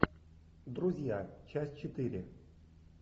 друзья часть четыре